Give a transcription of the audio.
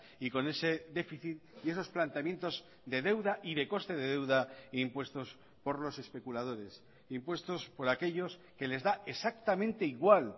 y con ese déficit y esos planteamientos de deuda y de coste de deuda impuestos por los especuladores impuestos por aquellos que les da exactamente igual